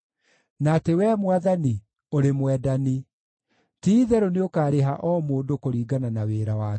na atĩ Wee Mwathani, ũrĩ mwendani. Ti-itherũ nĩũkarĩha o mũndũ kũringana na wĩra wake.